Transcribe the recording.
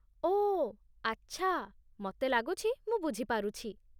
ଓଃ, ଆଚ୍ଛା, ମତେ ଲାଗୁଛି ମୁଁ ବୁଝିପାରୁଛି ।